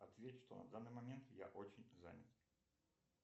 ответь что на данный момент я очень занят